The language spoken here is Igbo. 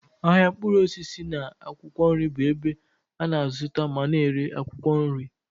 Ahịa mkpụrụ osisi na akwụkwọ nri bụ ebe a na-azụta ma na-ere akwụkwọ nri.